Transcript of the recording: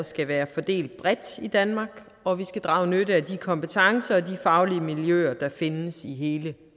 skal være fordelt bredt i danmark og at vi skal drage nytte af de kompetencer og de faglige miljøer der findes i hele